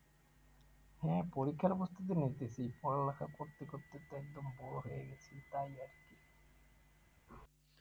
হ্যাঁ পরীক্ষার প্রস্তুতি নিতেছি পড়ালেখা করতে করতে তো একদম bore হয়ে গেছি তাই আরকি